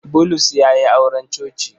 Bulus ya yi auren coci.